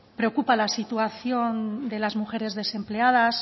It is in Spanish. preocupa la situación de las mujeres desempleadas